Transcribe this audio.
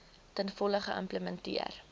ten volle geïmplementeer